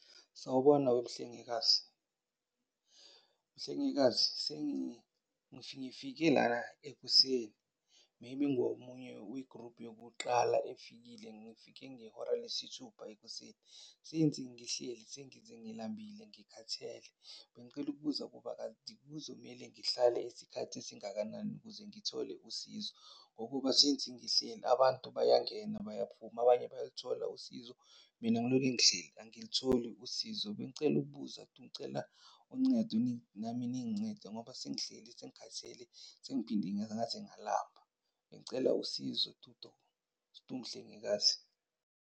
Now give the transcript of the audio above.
Sawubona wemhlengikazi. Mhlengikazi ngifike lana ekuseni, maybe ngiwomunye we-group yokuqala efikile. Ngifike ngehora lesithupha ekuseni. Since ngihleli sengize ngilambile, ngikhathele. Bengicela ukubuza ukuba kanti kuzomele ngihlale isikhathi esingakanani ukuze ngithole usizo? Ngokuba, since ngihleli abantu bayangena bayaphuma, abanye bayalithola usizo, mina ngiloke ngihleli angilitholi usizo. Bengicela ukubuza tu. Ngicela uncedo nami ningincede ngoba sengihleli, sengikhathele, sengiphinde ngaze ngalamba. Bengicela usizo tu tu, mhlengikazi?